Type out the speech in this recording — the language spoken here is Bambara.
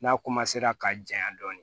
N'a ka janya dɔɔnin